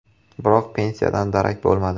Biroq pensiyadan darak bo‘lmadi.